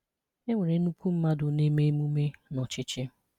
È nwere ńnukwu mmadụ na-eme emume n’ọ̀chị̀chị̀